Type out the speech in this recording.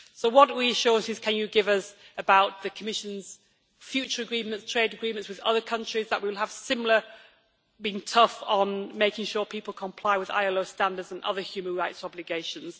So what reassurances can you give us about the Commission's future trade agreements with other countries, that they will be similarly tough in making sure people comply with ILO standards and other human rights obligations?